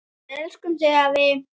Við elskum þig, afi.